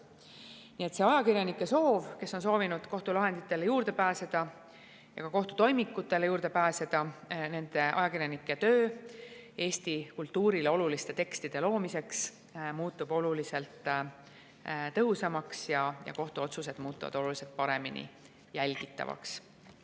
Nii et kui ajakirjanikud on soovinud kohtulahenditele ligi pääseda ja ka kohtu toimikutele ligi pääseda, siis nende töö Eesti kultuurile oluliste tekstide loomiseks muutub oluliselt tõhusamaks ja kohtuotsused muutuvad oluliselt paremini jälgitavaks.